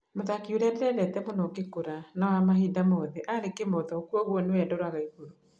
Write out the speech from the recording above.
Mũthaki ũrĩa ndendete mũno ngĩkũra na wa mahinda mothe arĩ Kĩmotho kũoguo nĩwe ndoraga igurũ.